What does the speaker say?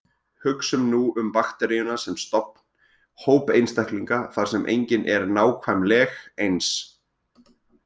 Hugsum nú um bakteríuna sem stofn, hóp einstaklinga þar sem enginn er nákvæmleg eins.